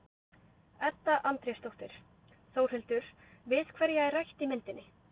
Edda Andrésdóttir: Þórhildur, við hverja er rætt í myndinni?